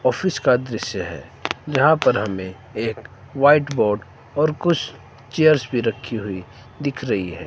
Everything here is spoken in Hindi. ऑफिस का दृश्य है जहां पर हमें एक व्हाइट बोर्ड और कुछ चेयर्स भी रखी हुई दिख रही है।